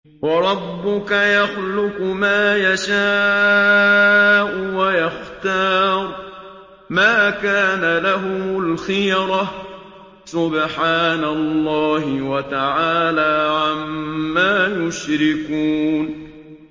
وَرَبُّكَ يَخْلُقُ مَا يَشَاءُ وَيَخْتَارُ ۗ مَا كَانَ لَهُمُ الْخِيَرَةُ ۚ سُبْحَانَ اللَّهِ وَتَعَالَىٰ عَمَّا يُشْرِكُونَ